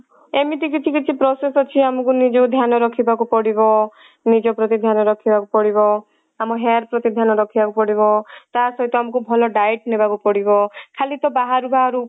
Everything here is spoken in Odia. ଏମିତି କିଛି କିଛି process ଅଛି ଆମକୁ ନିଜକୁ ଧ୍ୟାନ ରଖିବାକୁ ପଡିବ ନିଜ ପ୍ରତି ଧ୍ୟାନ ରଖିବାକୁ ପଡିବ ଆମ hair ପ୍ରତି ଧ୍ୟାନ ରଖିବାକୁ ପଡିବ ତା ସହିତ ଆମକୁ ଭଲ diet ନବାକୁ ପଡିବ ଖାଲି ତ ବାହାରୁ ବାହାରୁ